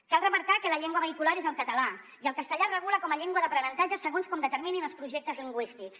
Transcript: cal remarcar que la llengua vehicular és el català i el castellà es regula com a llengua d’aprenentatge segons com determinin els projectes lingüístics